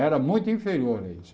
Era muito inferior a isso.